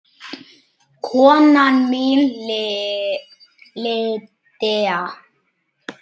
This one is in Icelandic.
Kona mín Lydia